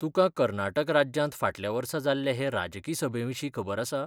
तुकां कर्नाटक राज्यांत फाटल्या वर्सा जाल्ले हे राजकी सभेविशीं खबर आसा?